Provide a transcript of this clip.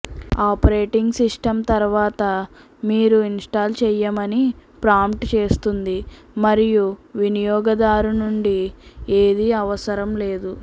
operating system తర్వాత మీరు install చేయమని ప్రాంప్ట్ చేస్తుంది మరియు వినియోగదారు నుండి ఏదీ అవసరం లేదు